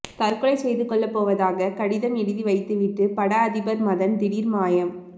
தற்கொலை செய்து கொள்ளப்போவதாக கடிதம் எழுதி வைத்துவிட்டு பட அதிபர் மதன் திடீர் மாயம்